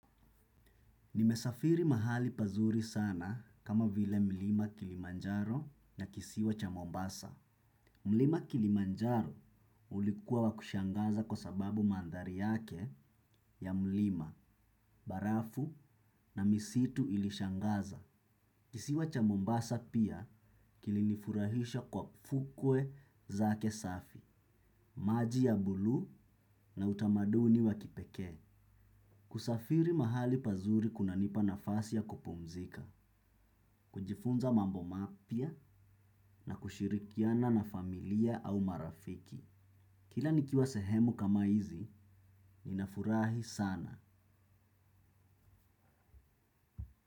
Nimesafiri mahali pazuri sana kama vile mlima kilimanjaro na kisiwa cha Mombasa. Mlima kilimanjaro ulikuwa wa kushangaza kwa sababu mandhari yake ya mlima, barafu na misitu ilishangaza. Kisiwa cha Mombasa pia kilinifurahisha kwa fukwe zake safi, maji ya buluu na utamaduni wa kipekee. Kusafiri mahali pazuri kunanipa nafasi ya kupumzika. Kujifunza mambo mapya na kushirikiana na familia au marafiki kila nikiwa sehemu kama hizi, ninafurahi sana.